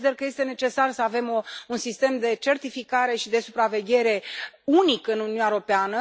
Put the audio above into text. Consider că este necesar să avem un sistem de certificare și de supraveghere unic în Uniunea Europeană.